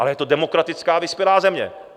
Ale je to demokratická vyspělá země.